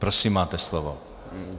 Prosím, máte slovo.